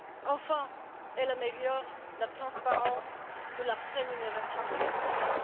Enfin, elles améliorent la transparence de la rémunération des artistes.